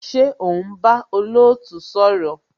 Ṣé o ń bá olootu sọ̀rọ̀?